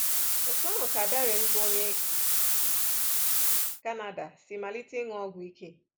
Otú ahụ ka Darren, bụ́ onye Canada, si malite ịṅụ ọgwụ ike.